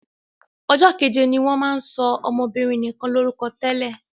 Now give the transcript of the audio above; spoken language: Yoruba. Ọjọ́ keje ni wọ́n máa ń sọ ọmọbinrin nikan lórúkọ tẹ́lẹ̀.